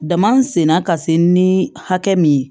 Dama sen na ka se ni hakɛ min ye